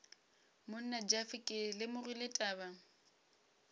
monna jeff ke lemogile taba